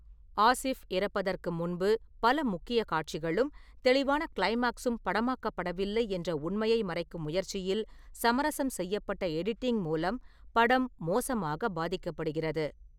ஆசிஃப் இறப்பதற்கு முன்பு பல முக்கிய காட்சிகளும் தெளிவான க்ளைமாக்ஸும் படமாக்கப்படவில்லை என்ற உண்மையை மறைக்கும் முயற்சியில் சமரசம் செய்யப்பட்ட எடிட்டிங் மூலம் படம் மோசமாக பாதிக்கப்படுகிறது.